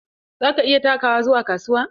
Za ka iya takawa zuwa kasuwa?